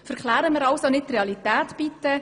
Verklären wir also bitte die Realität nicht.